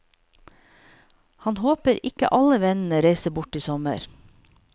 Han håper ikke alle vennene reiser bort i sommer.